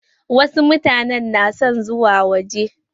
Wasu mutane na son zuwa waje.